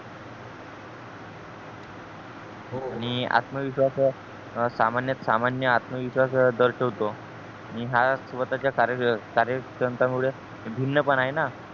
आणि आत्मविश्वास या सामान्य आत्मविश्वास दर्शिवतो आणि हा स्वतः च्या कार्य कार्यक्षमता मुळे भिन्न पण आहे ना